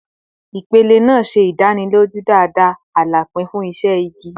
Ipele naa ṣe idaniloju dada alapin fun iṣẹ igi